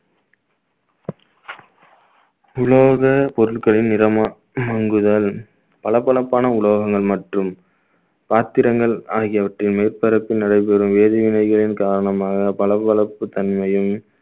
உலோக பொருட்களின் நிறமா மங்குதல் பளபளப்பான உலோகங்கள் மற்றும் பாத்திரங்கள் ஆகியவற்றின் மேற்பரப்பில் நடைபெறும் வேதிவினைகளின் காரணமாக பளபளப்புத் தன்மையும்